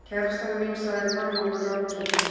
Kærastan mín, sagði Kormákur rogginn.